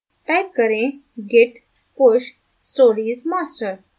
type करें git push stories master